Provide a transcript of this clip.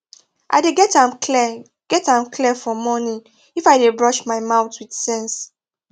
i dey get am clear get am clear for morning if i dey brush my mouth with sense